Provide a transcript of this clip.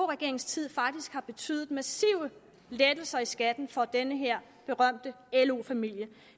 regeringens tid faktisk har betydet massive lettelser i skatten for den her berømte lo familie